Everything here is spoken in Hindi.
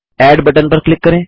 एड बटन पर क्लिक करें